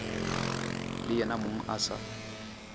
le yena mong a sa